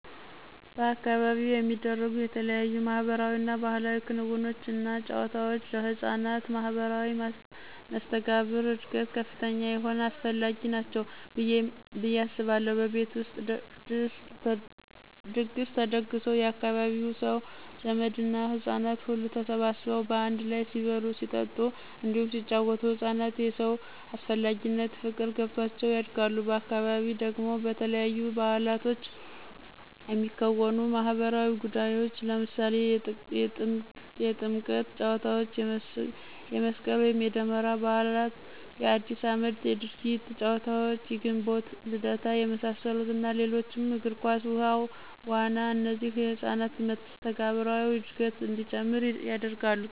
በአካባቢው የሚደረጉ የተለያዩ ማህበራዊ እና ባህላዊ ክንውኖች እና ጫወታወች ለህፃናት ማህበራዊ መስተጋብር እድገት ከፍተኛ የሆነ አስፈላጊ ናቸው ብየ አስባለሁ። በቤት ውስጥ ድግስ ተደግሶ የአካባቢው ሰው፣ ዘመድ እና ህጻናት ሁሉ ተሰባስበው በአንድ ላይ ሲበሉ ሲጠጡ እንዲሁም ሲጪወቱ ህፃናት የሰው አስፈላጊነት ፍቅር ገብቷቸው ያድጋሉ፤ በአካባቢ ደግሞ በተለያዩ ባዕላቶች የሚከወኑ ማህበራዊ ጉዳዮች ለምሳሌ የጥምቀት ጫዎታ፣ የመስቅል ወይም የደመራ በዓል፣ የአዲስ አመት የድርጊት ጨዋታዎች፣ የግንቦት ልደታ የመሳሰሉት እና ሌሎችም የግር ኳስ፣ ውሀ ዋና እነዚህ የህፃናትን መስተጋብራዊ እድገት እንዲጨምር ያደርጋሉ።